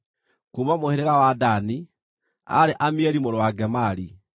kuuma mũhĩrĩga wa Dani, aarĩ Amieli mũrũ wa Gemali;